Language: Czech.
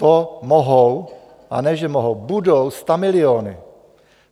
To mohou, a ne že mohou, budou stamiliony.